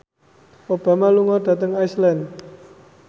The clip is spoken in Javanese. Obama lunga dhateng Iceland